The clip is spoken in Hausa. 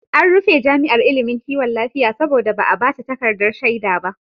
An rufe jami'ar ilimin kiwon lafiya saboda ba a ba ta takardar shaida ba.